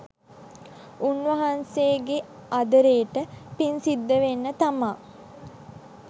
උන්වහන්සේගේ අදාරෙට පින්සිද්ද වෙන්න තමා